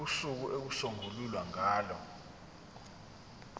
usuku okuyosungulwa ngalo